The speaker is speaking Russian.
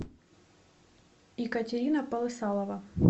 екатерина полысалова